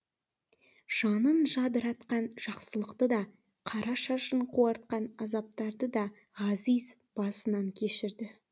жанын жадыратқан жақсылықты да қара шашын қуартқан азаптарды да ғазиз басынан кешірді